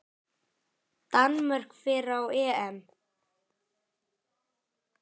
Danmörk fer á EM.